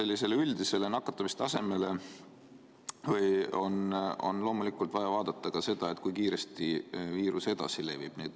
Lisaks üldisele nakatumistasemele on loomulikult vaja vaadata ka seda, kui kiiresti viirus levib.